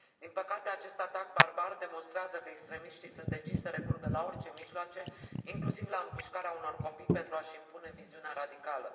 Din păcate, acest atac barbar demonstrează că extremiștii sunt deciși să recurgă la orice mijloace, inclusiv la împușcarea unor copii, pentru a și impune viziunea radicală.